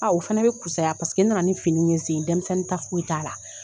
o fana bɛ kusaya n nana ni fini ye zen denmisɛnnin ta foyi t'a la.